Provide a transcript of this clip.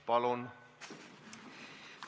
Palun!